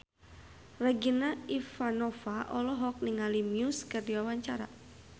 Regina Ivanova olohok ningali Muse keur diwawancara